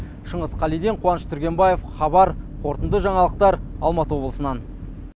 шыңғыс қалиден қуаныш түргенбаев хабар қорытынды жаңалықтар алматы облысынан